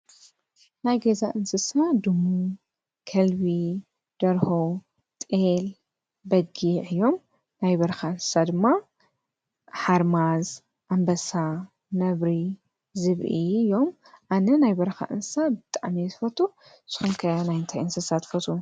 ናይ ገዛ እንስሳ ድሙ፣ ከልቢ፣ ደርሆ፣ ጠል ፣በጊ፣ እዮም ናይ በርኻ እንሳ ድማ ሓርማዝ ፣ኣምበሳ ፣ነብሪ ዝብኢ ፣እዮም። ኣነ ናይ በርካ እንሳ ብጥዓሚ ስፈቱ ንስኩምከ ናይንቲይ እንስሳ ትፈትው?